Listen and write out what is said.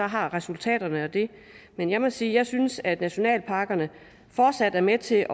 har resultaterne af den men jeg må sige jeg synes at nationalparkerne fortsat er med til